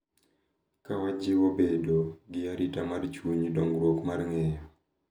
Ka wajiwo bedo gi arita mar chuny, dongruok mar ng’eyo,